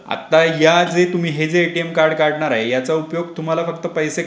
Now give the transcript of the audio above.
आत्ता या जे तुम्ही हे जे एटीएम कार्ड काढणार आहे याचा उपयोग फक्त तुम्हाला पैसे